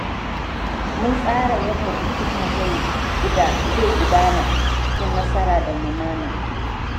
Mun tsara yanda bikinmu zai gudana cikin nasara da lumana.